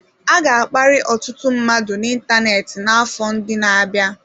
A ga-akparị ọtụtụ mmadụ n'ịntanetị n'afọ ndị na-abịa.